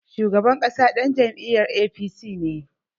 Shugaban ƙasa ɗan jam'iyar APC ne.